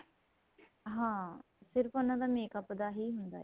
ਹਾਂ ਸਿਰਫ਼ ਉਹਨਾ ਦਾ makeup ਦਾ ਹੀ ਹੁੰਦਾ ਏ